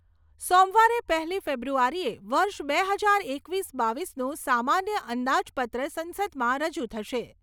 સોમવારે પહેલી ફેબ્રુઆરીએ વર્ષ બે હજાર એકવીસ બાવીસનું સામાન્ય અંદાજપત્ર સંસદમાં રજૂ થશે.